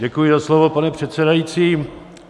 Děkuji za slovo, pane předsedající.